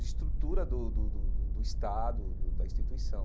de estrutura do do do do Estado, do da instituição.